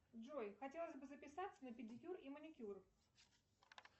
джой хотелось бы записаться на педикюр и маникюр